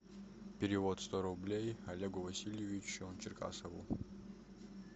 перевод сто рублей олегу васильевичу черкасову